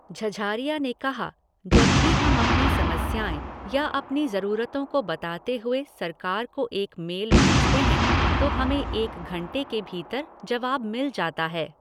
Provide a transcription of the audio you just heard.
झझारिया ने कहा, "जब भी हम अपनी समस्याएँ या अपनी ज़रूरतों को बताते हुए सरकार को एक मेल भेजते हैं तो हमें एक घंटे के भीतर जवाब मिल जाता है।"